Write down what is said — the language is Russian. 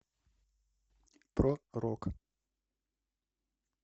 про рок